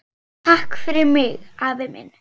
Takk fyrir mig, afi minn.